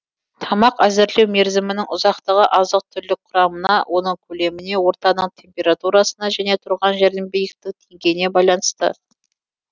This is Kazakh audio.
тамақ әзірлеу мерзімінің ұзақтығы азық түлік құрамына оның көлеміне ортаның температурасына және тұрған жердің биіктік деңгейіне байланысты